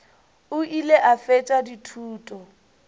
o ile a fetša dithuto